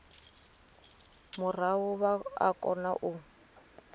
murahu vha o kona u